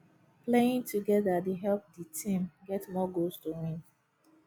playing together dey help di team get more goals to win